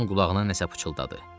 Onun qulağına nəsə pıçıldadı.